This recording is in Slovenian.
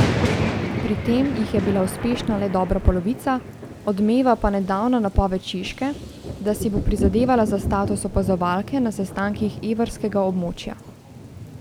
Pri tem jih je bila uspešna le dobra polovica, odmeva pa nedavna napoved Češke, da si bo prizadevala za status opazovalke na sestankih evrskega območja.